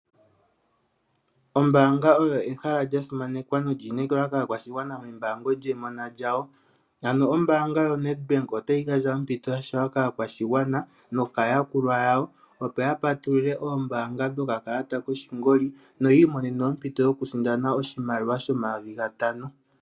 Ombanga olyo ehala lyasimanekwa nolyinekeliwa kaakwashigwana meembango lyemona lyawo. Ombanga ya Ned Bank otayi gandja ompito ya shewa kaakwashigwana nokaayakulwa yawo opo ya patulule okakalata koshingoli no yiimonene ompito yoku sindana oshimaliwa shomayoovi ga tano.